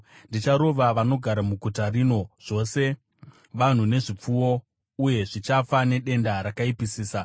Ndicharova vanogara muguta rino, zvose vanhu nezvipfuwo, uye zvichafa nedenda rakaipisisa.